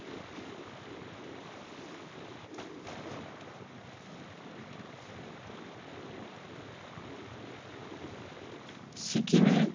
সিকিমে